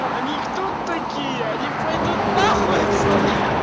а они кто такие они пойдут на хуй отсюда